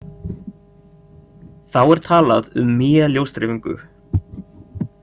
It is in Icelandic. Þá er talað um Mie-ljósdreifingu.